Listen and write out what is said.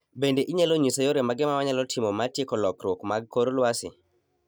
Bende inyalo nyisa yore mage ma wanyalo timo ma tieko lokruok mag kor lwasi